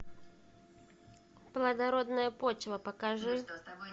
плодородная почва покажи